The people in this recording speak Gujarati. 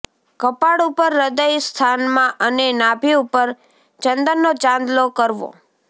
કપાળ ઉપર હૃદય સ્થાનમાં અને નાભી ઉપર ચંદનનો ચાંલ્લો કરવો